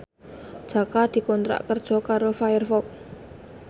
Jaka dikontrak kerja karo Firefox